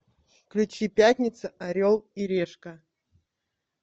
включи пятница орел и решка